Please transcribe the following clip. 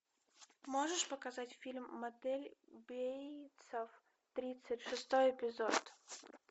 можешь показать фильм мотель бейтса тридцать шестой эпизод